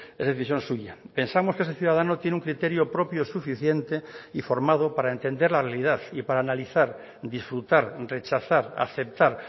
es decisión suya pensamos que ese ciudadano tiene un criterio propio suficiente y formado para entender la realidad y para analizar disfrutar rechazar aceptar